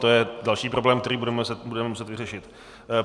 To je další problém, který budeme muset vyřešit.